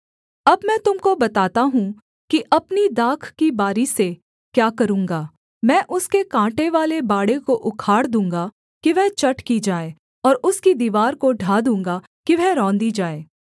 अब मैं तुम को बताता हूँ कि अपनी दाख की बारी से क्या करूँगा मैं उसके काँटेवाले बाड़े को उखाड़ दूँगा कि वह चट की जाए और उसकी दीवार को ढा दूँगा कि वह रौंदी जाए